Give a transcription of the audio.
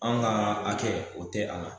An ga a kɛ o tɛ a la